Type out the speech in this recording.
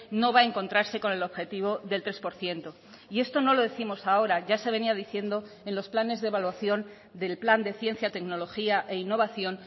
no va a encontrarse con el objetivo del tres por ciento y esto no lo décimos ahora ya se venía diciendo en los planes de evaluación del plan de ciencia tecnología e innovación